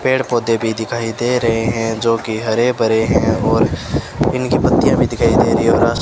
पेड़ पौधे भी दिखाई दे रहे हैं जोकि हरे भरे हैं और इनकी पत्तियां भी दिखाई दे रही है और आस --